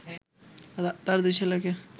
তার দুই ছেলেকে